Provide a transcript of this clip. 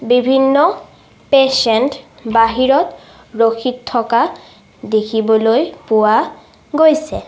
বিভিন্ন পেচেন্ত বাহিৰত ৰখি থকা দেখিবলৈ পোৱা গৈছে।